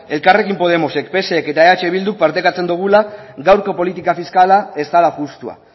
elkarrekin podemosek psek eta eh bilduk partekatzen dugula gaurko politika fiskala ez dela justua